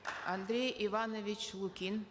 андрей иванович лукин